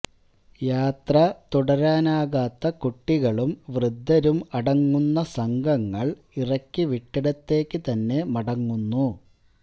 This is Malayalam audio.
യാത്ര തുടരാനാകാത്ത കുട്ടികളും വൃദ്ധരും അടങ്ങുന്ന സംഘങ്ങള് ഇറക്കിവിട്ടിടത്തേക്ക് തന്നെ മടങ്ങുന്നു